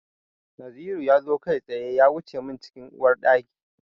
Naziru ya zo kai tsaye ya wuce min cikin Uwar ɗaki.